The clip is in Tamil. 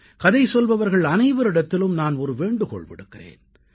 கதை சொல்பவர்கள் அனைவரிடத்திலும் நான் ஒரு வேண்டுகோள் விடுக்கிறேன்